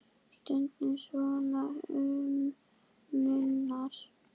Stundum svo um munar.